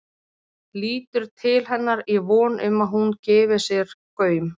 Lítur til hennar í von um að hún gefi sér gaum.